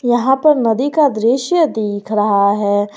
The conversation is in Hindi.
यहां पर नदी का दृश्य देख रहा है।